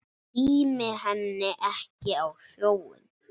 Tími henni ekki á sjóinn!